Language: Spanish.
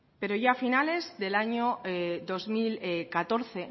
pero ya a finales del año dos mil catorce